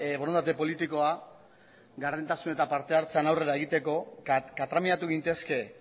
borondate politikoa gardentasun eta partehartzean aurrera egiteko katramiatu gintezke